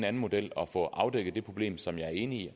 anden model og få afdækket det problem som jeg er enig i